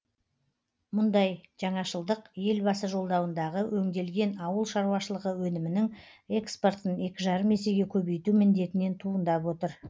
мұндай жаңашылдық елбасы жолдауындағы өңделген ауыл шаруашылығы өнімінің экспортын екі жарым есеге көбейту міндетінен туындап отыр